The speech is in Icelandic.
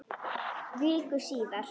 Viku síðar.